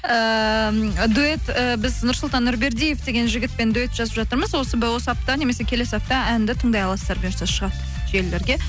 ііі дуэт і біз нұрсұлтан нұрбердиев деген жігітпен дуэт жазып жатырмыз осы осы апта немесе келесі апта әнді тыңдай аласыздар бұйырса шығады желілерге